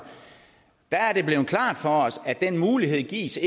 er det blevet klart for os at den mulighed ikke gives